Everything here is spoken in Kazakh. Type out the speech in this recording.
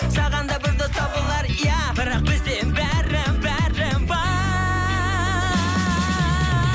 саған да бір дос табылар иә бірақ бізде бәрі бәрі бар